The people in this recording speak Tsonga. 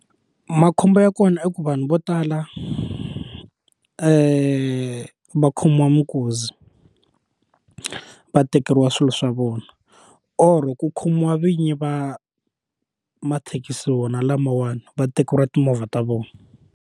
Makhombo ya kona i ku vanhu vo tala va khomiwa mikuzi va tekeriwa swilo swa vona or ku khomiwa vinyi va mathekisi wona lamawani va tekeriwa timovha ta vona.